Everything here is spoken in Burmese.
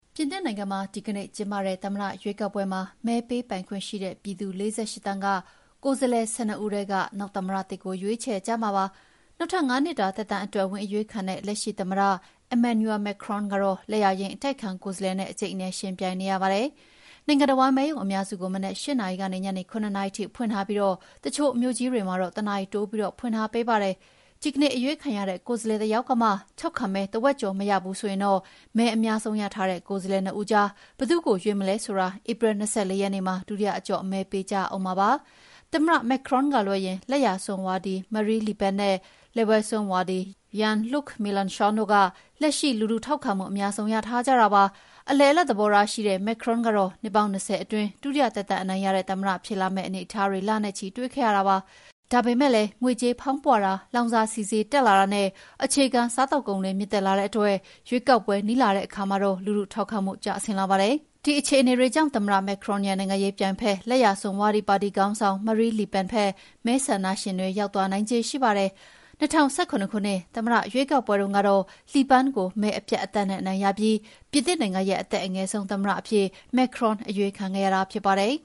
ပြင်သစ်နိုင်ငံမှာ ဒီကနေ့ကျင်းပတဲ့ သမ္မတရွေးကောက်ပွဲမှာ မဲပေးပိုင်ခွင့်ရှိတဲ့ ပြည်သူ ၄၈ သန်းက ကိုယ်စားလှယ် ၁၂ ဦးထဲက နောက်သမ္မတသစ်ကို ရွေးချယ်ကြမှာ ဖြစ်ပါတယ်။ နောက်ထပ် ၅ နှစ်တာ သက်တမ်းအတွက် ဝင်အရွေးခံတဲ့ လက်ရှိသမ္မတ Emmanuel Macron ကတော့ လက်ယာယိမ်း အတိုက်အခံ ကိုယ်စားလှယ်နဲ့ အကြိတ်အနယ် ယှဉ်ပြိုင်နေရပါတယ်။ နိုင်ငံတဝန်း မဲရုံအများစုကို မနက် ၈ နာရီကနေ ညနေ ၇ နာရီထိဖွင့်ပြီး တချို့မြို့ကြီးတွေမှာတော့ တနာရီတိုးပြီး ဖွင့်ထားပေးပါတယ်။ ဒီကနေ့အရွေးခံတဲ့ ကိုယ်စားလှယ်တယောက်ကမှ ထောက်ခံမဲ တဝက်ကျော် မရဘူး ဆိုရင်တော့ မဲအများဆုံး ရထားတဲ့ ကိုယ်စားလှယ်နှစ်ဦးကြား ဘယ်သူ့ကိုရွေးမလဲဆိုတာ ဧပြီ ၂၄ ရက်နေ့မှာ ဒုတိယအကျော့ မဲပေးကြရဦးမှာ ဖြစ်ပါတယ်။ သမ္မတ Macron ကလွဲရင် လက်ယာစွန်းဝါဒီ Marine Le Pen နဲ့ လက်ဝဲစွန်းဝါဒီ Jean-Luc Melenchon တို့က လက်ရှိ လူထုထောက်ခံမှု အများဆုံး ရထားကြတာပါ။ အလယ်အလတ် သဘောထားရှိတဲ့ သမ္မတ Macron ကတော့ နှစ်ပေါင်း ၂၀ အတွင်း ဒုတိယသက်တမ်း အနိုင်ရတဲ့သမ္မတ ဖြစ်လာမယ့် အနေအထားတွေ လနဲ့ချီ တွေ့ခဲ့ရပါတယ်။ ဒါပေမယ့်လည်း ငွေကြေးဖောင်းပွတာ၊ လောင်စာဆီ ဈေးတက်လာတာနဲ့ အခြေခံစားကုန်တွေ မြင့်တက်လာတဲ့အတွက် ရွေးကောက်ပွဲ နီးလာတဲ့ အခါမှာတော့ လူထုထောက်ခံမှု ကျဆင်းလာပါတယ်။ ဒီအခြေအနေတွေကြောင့် သမ္မတ Macron ရဲ့ နိုင်ငံရေးပြိုင်ဘက် လက်ယာစွန်းဝါဒီ ပါတီခေါင်းဆောင် Marine Le Pen ဘက် မဲဆန္ဒရှင်တွေ ရောက်သွားနိုင်ခြေ ရှိနေပါတယ်။ ၂၀၁၇ ခုနှစ် သမ္မတရွေးကောက်ပွဲတုန်းကတော့ Le Pan ကို မဲအပြတ်အသတ်နဲ့ အနိုင်ရပြီး ပြင်သစ်နိုင်ငံရဲ့ အသက်အငယ်ဆုံး သမ္မတအဖြစ် Macron အရွေးခံခဲ့ရတာ ဖြစ်ပါတယ်